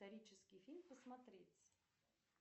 исторический фильм посмотреть